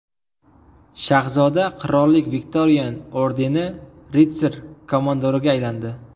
Shahzoda Qirollik Viktorian ordeni ritsar-komandoriga aylandi.